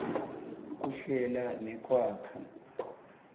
kuhlela nekwakha